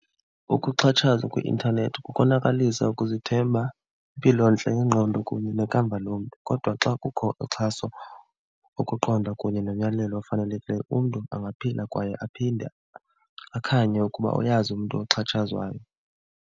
Ukuxhatshazwa kwi-intanethi kukonakalisa ukuzithemba, impilontle yengqondo kunye nekamva lomntu. Kodwa xa kukho uxhaso, ukuqonda kunye nonyamelo ofanelekileyo umntu angaphila kwaye aphinde akhanywe ukuba uyazi umntu oxhatshazwayo.